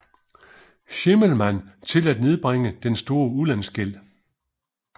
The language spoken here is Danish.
Schimmelmann til at nedbringe den store udlandsgæld